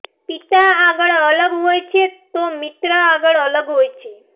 પિતા આગળ અલગ હોય છે તો મિત્ર આગળ અલગ હોય છે